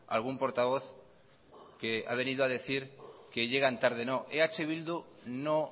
algún portavoz que ha venido a decir que llegan tarde no eh bildu no